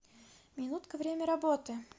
минутка время работы